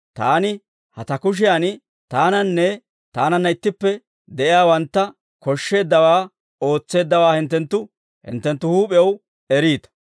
taani ha ta kushiyan taananne taananna ittippe de'iyaawantta koshsheeddawaa ootseeddawaa hinttenttu hinttenttu huup'ew eriita.